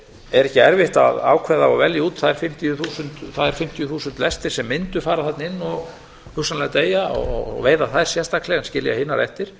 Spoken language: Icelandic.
er ekki erfitt að ákveða og velja út þær fimmtíu þúsund lestir sem mundu fara þarna inn og hugsanlega deyja og veiða þær sérstaklega en skilja hinar eftir